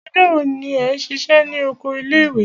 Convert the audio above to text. Ọjọ́ wo ni ẹ ṣiṣẹ́ ní oko ilé ìwé?